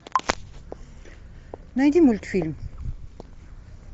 найди мультфильм